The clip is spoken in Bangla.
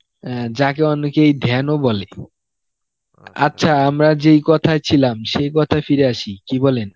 অ্যাঁ যাকে অনেকই ধ্যানও বলে আচ্ছা আমরা যেই কথায় ছিলাম সেই কথায় ফিরে আসি, কি বলেন